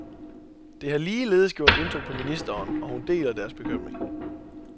Det har ligeledes gjort indtryk på ministeren, og hun deler deres bekymring.